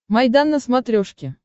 майдан на смотрешке